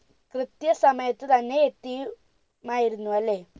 കൃത്യ സമയത്ത് തന്നെ എത്തി മായിരുന്നു അല്ലെ